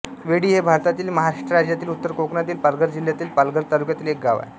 वेढी हे भारतातील महाराष्ट्र राज्यातील उत्तर कोकणातील पालघर जिल्ह्यातील पालघर तालुक्यातील एक गाव आहे